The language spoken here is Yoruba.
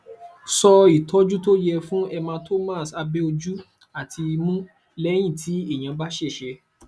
so ìtọjú tó yẹ fún hematomas abe ojú àti imu leyin ti eyan ba sese